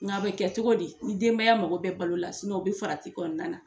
Nka bɛ kɛ cogo di ni denbaya mako bɛ balo la u bɛ farati kɔnɔna na.